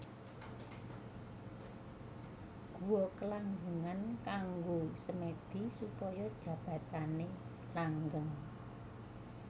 Guwa Kelanggengan kanggo semèdi supaya jabatané langgeng